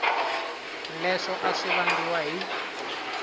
leswo a swi vangiwa hi